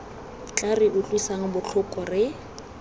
tla re utlwisang botlhoko re